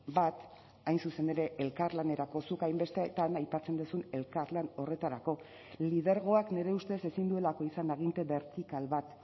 bat hain zuzen ere elkarlanerako zuk hainbestetan aipatzen duzun elkarlan horretarako lidergoak nire ustez ezin duelako izan aginte bertikal bat